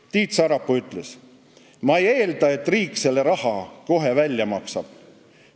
Tiit Sarapuu ütles: "Ma ei eelda, et riik selle raha meile kohe välja maksab.